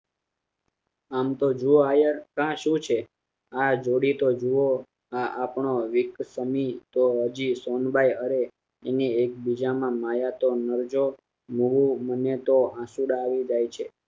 આમ તો જુઓ આયાર કા શું છે આ જોડીએ તો જુઓ આ આપડો એક સોમીત હજી સોનબાઈ અરે એને એક બીજામાં માયા મન~મને તો આંસુડાં આવી જાય છે